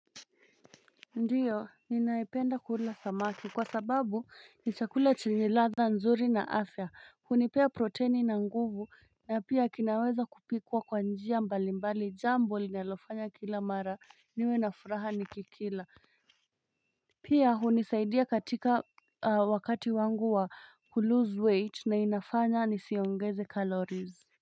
Ndiyo, ninaipenda kula samaki kwa sababu ni chakula chenye ladha nzuri na afya, hunipea proteini na nguvu na pia kinaweza kupikwa kwa njia mbali mbali jambo linalofanya kila mara niwe na furaha niki kila Pia hunisaidia katika wakati wangu wa kuloose weight na inafanya nisiongeze calories.